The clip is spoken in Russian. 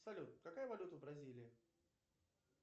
салют какая валюта в бразилии